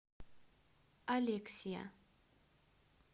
алексия